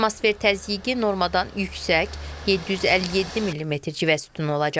Atmosfer təzyiqi normadan yüksək, 757 millimetr civə sütunu olacaq.